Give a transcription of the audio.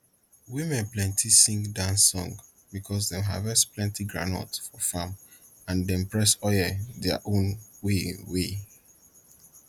women plenty sing dance songs because dem harvest plenti groundnut for farm and dey press oil their own way way